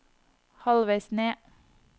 halvveis ned